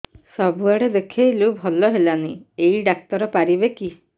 ସବୁଆଡେ ଦେଖେଇଲୁ ଭଲ ହେଲାନି ଏଇ ଡ଼ାକ୍ତର ପାରିବେ କି